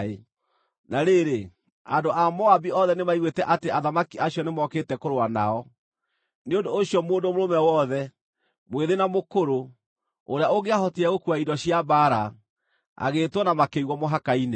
Na rĩrĩ, andũ a Moabi othe nĩmaiguĩte atĩ athamaki acio nĩmokĩte kũrũa nao; nĩ ũndũ ũcio mũndũ mũrũme wothe, mwĩthĩ na mũkũrũ, ũrĩa ũngĩahotire gũkuua indo cia mbaara, agĩĩtwo na makĩigwo mũhaka-inĩ.